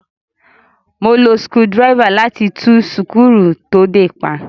Mo lo sukudírẹ́fà láti tú súkúrù to dè pa.